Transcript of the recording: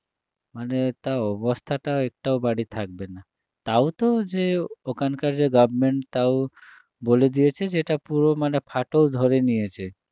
মানে তা অবস্থাটা একটাও বাড়ি থাকবে না তাও তো যে ওখানকার যে government বলে দিয়েছে যে এটা পুরো মানে ফাটল ধরে নিয়েছে